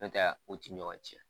N'u tɛ u ti ɲɔgɔn cɛn